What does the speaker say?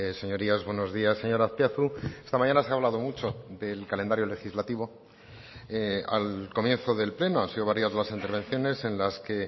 señorías buenos días señor azpiazu esta mañana se ha hablado mucho del calendario legislativo al comienzo del pleno han sido varias las intervenciones en las que